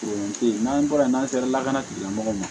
O te yen n'an bɔra yen n'an sera lakana tigilamɔgɔw ma